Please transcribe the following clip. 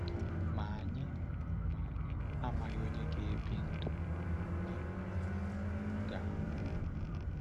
Ma anyị Ma anyị amaghị onye ga-ebi ndụ na onye ga-anwụ.